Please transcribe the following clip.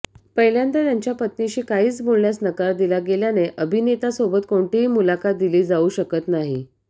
पहिल्यांदा त्यांच्या पत्नीशी काहीच बोलण्यास नकार दिला गेल्याने अभिनेतासोबत कोणतीही मुलाखत दिली जाऊ शकत नाही